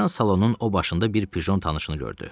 Birdən salonun o başında bir pjon tanışını gördü.